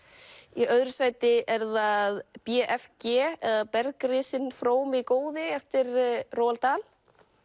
í öðru sæti er það b f g eða frómi góði eftir